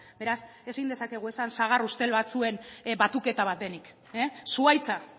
beraz ezin dezakegu esan sagar ustel batzuen batuketa bat denik zuhaitza